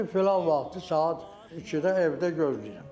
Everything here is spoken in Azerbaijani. Dedi, filan vaxtı saat 2-də evdə gözləyirəm.